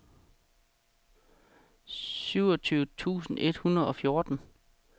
syvogtyve tusind et hundrede og fjorten